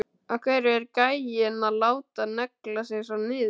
Af hverju er gæinn að láta negla sig svona niður?